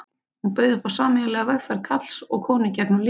Hún bauð upp á sameiginlega vegferð karls og konu gegnum lífið.